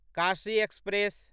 Kashi express